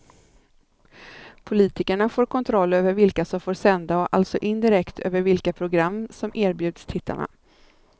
Politikerna får kontroll över vilka som får sända och alltså indirekt över vilka program som erbjuds tittarna.